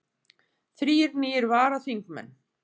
Þrír nýir varaþingmenn